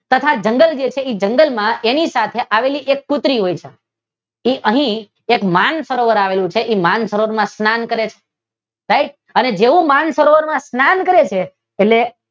તથા જંગલ છે એ જંગલ માં એની કાંઠે આવેલી એક કૂતરી હોય છે કે અહી એક માનસરોવર આવેલું હોય છે જેવુ એ માન સરોવર માં સ્નાન કરે છે એટલે